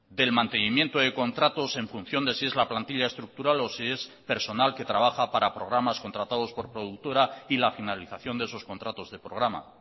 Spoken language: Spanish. del mantenimiento de contratos en función de si es la plantilla estructural o si es personal que trabaja para programas contratados por productora y la finalización de esos contratos de programa